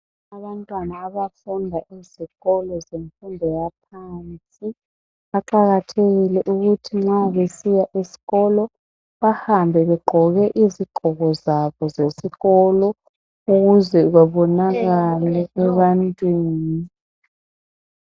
Abantwana abafunda ezikolo zemfundo yaphansi baqakathekile ukuthi nxa besiya eskolo bahambe begqoke izigqoko zabo zesikolo ukuze bebonakale ebantwini.